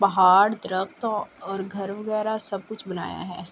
پھاڈ درخ اور گھر وگیرہ سب کچھ بنایا ہے۔